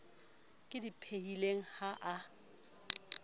ke di phehileng ha a